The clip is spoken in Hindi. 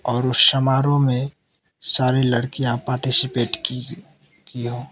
और उस समारोह में सारी लड़कियां पार्टिसिपेट की है की हो --